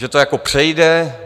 Že to jako přejde?